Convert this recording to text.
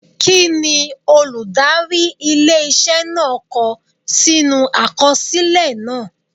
Kí ni olùdarí ilé iṣẹ́ náà kọ sínú àkọsílẹ̀ náà?